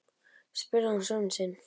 spurði hann son sinn.